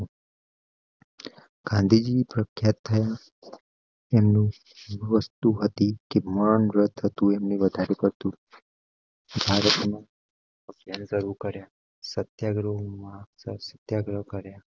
ગાંધીજી પ્રખ્યાત થાય. એનું વસ્તુ હતી કે મૌનવ્રત તું એમ ને વધાવ્યું હતું. સેલ શરૂ કાર્ય સત્યાગ્રહ માં સત્યાગ્રહ કાર્ય.